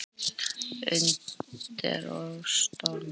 Undur og stórmerki.